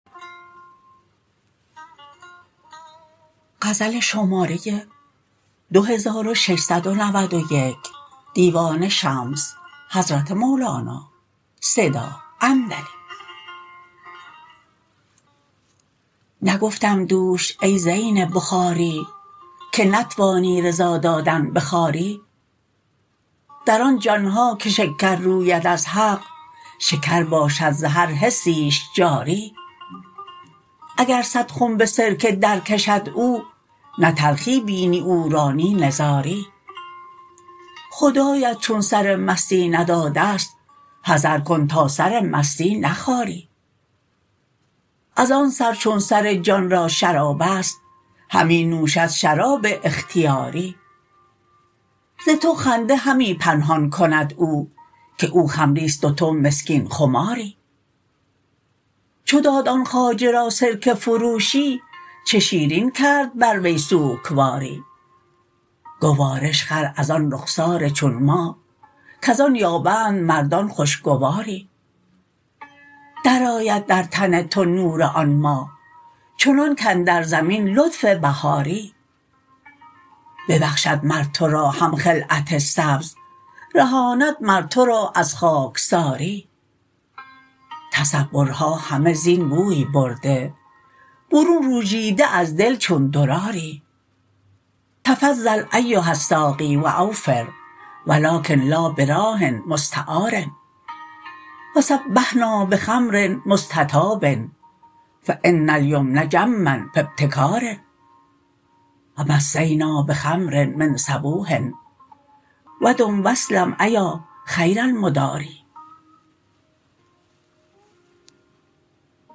نگفتم دوش ای زین بخاری که نتوانی رضا دادن به خواری در آن جان ها که شکر روید از حق شکر باشد ز هر حسیش جاری اگر صد خنب سرکه درکشد او نه تلخی بینی او را نی نزاری خدایت چون سر مستی نداده ست حذر کن تا سر مستی نخاری از آن سر چون سر جان را شراب است همی نوشد شراب اختیاری ز تو خنده همی پنهان کند او که او خمری است و تو مسکین خماری چو داد آن خواجه را سرکه فروشی چه شیرین کرد بر وی سوکواری گوارش خر از آن رخسار چون ماه کز آن یابند مردان خوشگواری درآید در تن تو نور آن ماه چنان کاندر زمین لطف بهاری ببخشد مر تو را هم خلعت سبز رهاند مر تو را از خاکساری تصورها همه زین بوی برده برون روژیده از دل چون دراری تفضل ایها الساقی و اوفر و لکن لا براح مستعار و صبحنا بخمر مستطاب فان الیمن جما فی ابتکار و مسینا بخمر من صبوح و دم و اسلم ایا خیر المداری